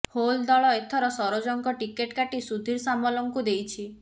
ହେଲ ଦଳ ଏଥର ସରୋଜଙ୍କ ଟିକଟ କାଟି ସୁଧୀର ସାମଲଙ୍କୁ ଦେଇଛି